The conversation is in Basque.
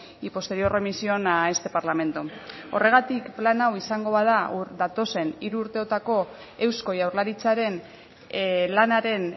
y posterior remisión a este parlamento horregatik plan hau izango bada datozen hiru urteotako eusko jaurlaritzaren lanaren